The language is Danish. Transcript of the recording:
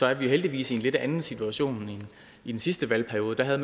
er vi heldigvis i en lidt anden situation end i den sidste valgperiode da havde